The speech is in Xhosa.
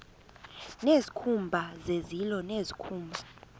nezikhumba zezilo nezikhumba